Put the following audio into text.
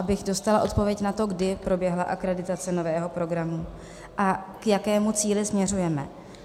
Abych dostala odpověď na to, kdy proběhla akreditace nového programu a k jakému cíli směřujeme.